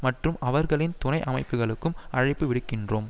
மற்றும் அவர்களின் துணை அமைப்புக்களுக்கும் அழைப்புவிடுக்கின்றோம்